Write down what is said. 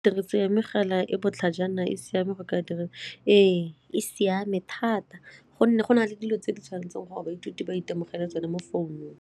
Tiriso ya mogala e botlhajana e siame go ka direga? Ee, e siame thata gonne go na le dilo tse di tshwanetseng gore baithuti ba itemogele tsone mo founung.